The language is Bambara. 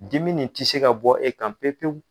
Dimi nin tɛ se ka bɔ e kan pewu pewu.